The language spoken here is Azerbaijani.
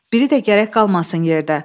Biri də gərək qalmasın yerdə.